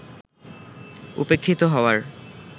উপেক্ষিত হওয়ার